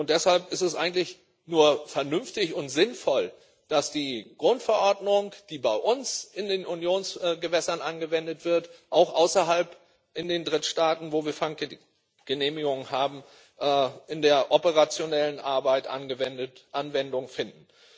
Deshalb ist es eigentlich nur vernünftig und sinnvoll, dass die Grundverordnung, die bei uns in den Unionsgewässern angewendet wird, auch außerhalb, in den Drittstaaten, in denen wir Fanggenehmigungen haben, in der operationellen Arbeit Anwendung findet.